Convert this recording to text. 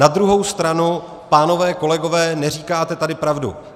Na druhou stranu, pánové kolegové, neříkáte tady pravdu.